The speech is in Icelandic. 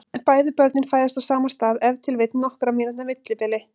Bæði börnin fæðast á sama stað með ef til vill nokkurra mínútna millibili.